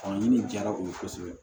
Faamu jara u ye kosɛbɛ